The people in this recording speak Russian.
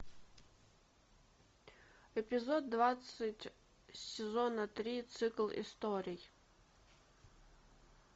эпизод двадцать сезона три цикл историй